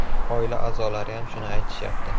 Oila a’zolariyam shuni aytishyapti.